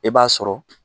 E b'a sɔrɔ